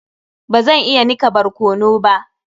Bazan iya nika barkano ba.